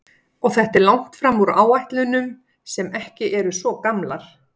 Og þetta er langt fram úr áætlunum sem ekki eru svo gamlar?